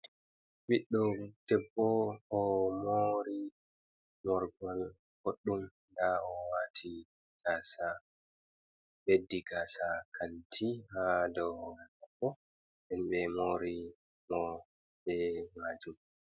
Ɓiɗɗo debbo o moori morgol boɗɗum .Ndaa o waati gaasa ,ɓeddi gaasa kanti haa dow mabbo ɓe moori mo be maajum.